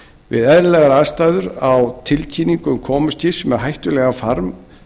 við eðlilegar aðstæður á tilkynning um komu skips með hættulegan farm